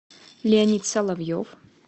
леонид соловьев